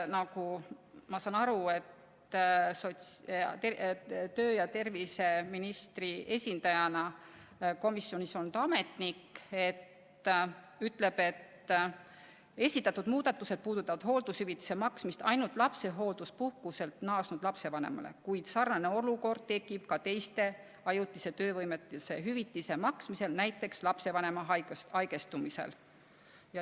Nagu ma aru saan, tervise- ja tööministri esindajana komisjonis olnud ametnik ütles, et esitatud muudatused puudutavad hooldushüvitise maksmist ainult lapsehoolduspuhkuselt naasnud lapsevanemale, kuid sarnane olukord tekib ka teiste ajutise töövõimetuse hüvitiste maksmisel, näiteks lapsevanema haigestumisel.